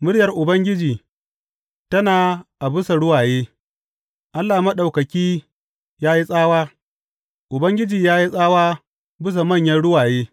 Muryar Ubangiji tana a bisa ruwaye; Allah Maɗaukaki ya yi tsawa, Ubangiji ya yi tsawa a bisa manyan ruwaye.